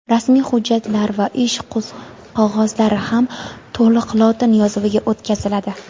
rasmiy hujjatlar va ish qog‘ozlari ham to‘liq lotin yozuviga o‘tkaziladi.